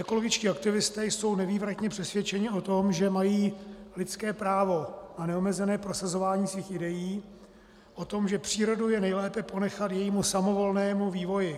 Ekologičtí aktivisté jsou nevývratně přesvědčeni o tom, že mají lidské právo na neomezené prosazování svých idejí o tom, že přírodu je nejlépe ponechat jejímu samovolnému vývoji.